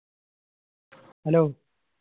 hello